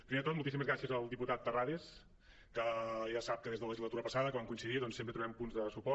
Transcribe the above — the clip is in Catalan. primer de tot moltíssimes gràcies al diputat terrades que ja sap que des de la le·gislatura passada que vam coincidir doncs sempre trobem punts de suport